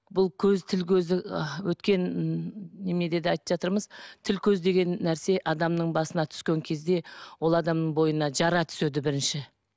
бұл көз тіл көз ы өткен м неменеде де айтып жатырмыз тіл көз деген нәрсе адамның басына түскен кезде ол адамның бойына жара түседі бірінші